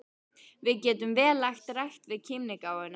Við getum vel lagt rækt við kímnigáfuna.